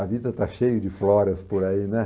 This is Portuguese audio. A vida está cheia de Floras por aí, né?